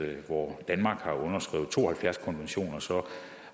at hvor danmark har underskrevet to og halvfjerds konventioner